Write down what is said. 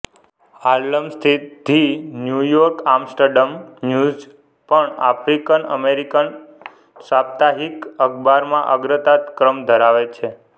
Harlem સ્થિત the New York Amsterdam News પણ African American સાપ્તાહિક અખબારમાં અગ્રતા કમ્ર ધરાવે છે